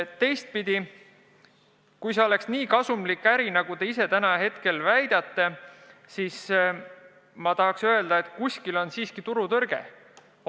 Teistpidi, kui see oleks nii kasumlik äri, nagu te väidate, siis ma tahaks öelda, et kuskil on turutõrge.